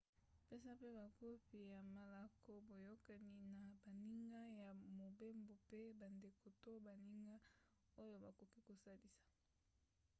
pesa mpe bakopi ya malako/boyokani na baninga ya mobembo mpe bandeko to baninga oyo bakoki kosalisa